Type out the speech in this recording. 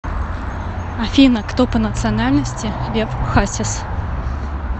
афина кто по национальности лев хасис